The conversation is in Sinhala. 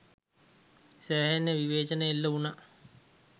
සෑහෙන විවේචන එල්ල වුනා.